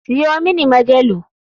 Siyo mini majalu.